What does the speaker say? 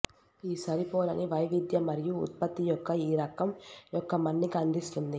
ఈ సరిపోలని వైవిధ్యత మరియు ఉత్పత్తి యొక్క ఈ రకం యొక్క మన్నిక అందిస్తుంది